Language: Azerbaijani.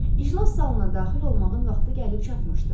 İclas salonuna daxil olmağın vaxtı gəlib çatmışdı.